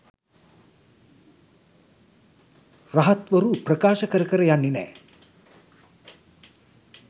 රහත්වරු ප්‍රකාශ කර කර යන්නෙ නෑ.